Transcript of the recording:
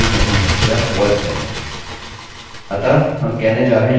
अतः हम कहने जा रहे हैं you forgot to fill out a fieldआप फील्ड का भरना भूल गए हैं